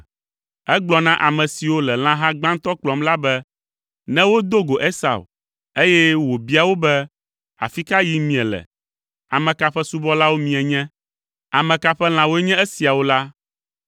Egblɔ na ame siwo le lãha gbãtɔ kplɔm la be ne wodo go Esau, eye wòbia wo be, “Afi ka yim miele? Ame ka ƒe subɔlawo mienye? Ame ka ƒe lãwoe nye esiawo?” la,